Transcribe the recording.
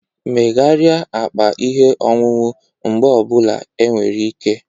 Megharịa akpa ihe ọṅụṅụ mgbe ọ bụla enwere ike